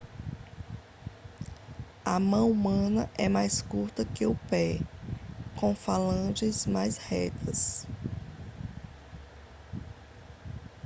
a mão humana é mais curta que o pé com falanges mais retas